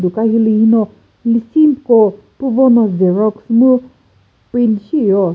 duka hilühi no lüsiko püvo no xerox mu print thiyo.